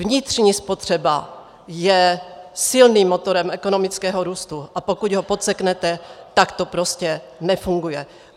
Vnitřní spotřeba je silným motorem ekonomického, růstu, a pokud ho podseknete, tak to prostě nefunguje.